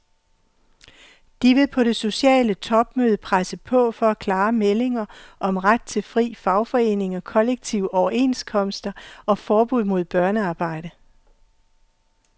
De vil på det sociale topmøde presse på for klare meldinger om ret til frie fagforeninger, kollektive overenskomster og forbud mod børnearbejde.